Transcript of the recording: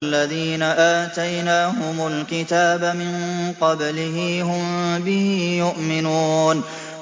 الَّذِينَ آتَيْنَاهُمُ الْكِتَابَ مِن قَبْلِهِ هُم بِهِ يُؤْمِنُونَ